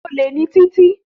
Títí is a thief